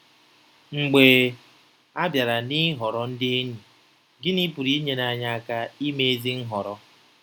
Mgbe a bịara n’ịhọrọ ndị enyi, gịnị pụrụ inyere anyị aka ime ezi nhọrọ?